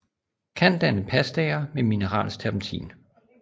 Kan danne pastaer med mineralsk terpentin